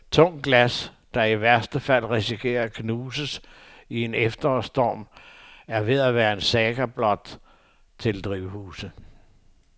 Tungt glas, der i værste fald risikerer at knuses i en efterårsstorm, er ved at være en saga blot til drivhuse.